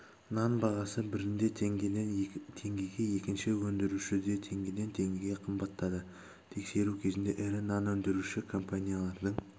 нан бағасы бірінде теңгеден теңгеге екінші өндірушіде теңгеден теңгеге қымбаттады тексеру кезінде ірі нан өндіруші компаниялардың